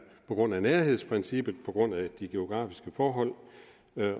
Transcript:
på grund af nærhedsprincippet på grund af de geografiske forhold